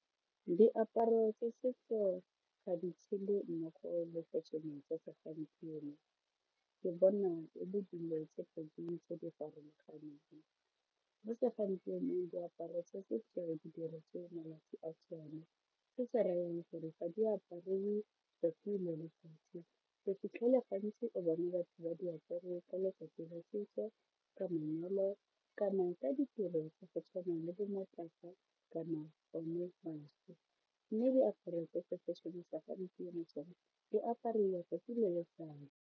Diaparo tsa setso ga di tshele mmogo le fešene tsa segompieno ke bona e le dilo tse pedi tse di farologaneng, mo segompienong diaparo tsa setso di diretswe malatsi a tsone, se se ra yang gore ga di apariwe tsatsi mo letsatsi, o fitlhelela gantsi o bone batho ba di apere ka letsatsi la setso, ka manyalo kana ka ditiro tsa go tshwana le bo matlapa kana one maso mme diaparo fashion-e ya segampieno tsona di apariwa tsatsi le letsatsi.